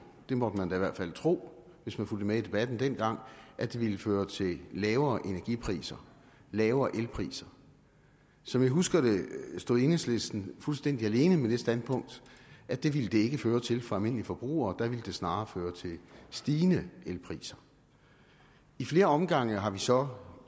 det måtte man da i hvert fald tro hvis man fulgte med i debatten dengang at det ville føre til lavere energipriser lavere elpriser som jeg husker det stod enhedslisten fuldstændig alene med det standpunkt at det ville det ikke føre til for almindelige forbrugere der ville det snarere føre til stigende elpriser i flere omgange har vi så